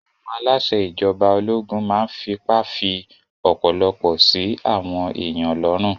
Àwọn aláṣẹ ìjọba ológun máa n fipá fí ọ̀pọ̀lọpọ̀ sí àwọn èèyàn lọ́rùn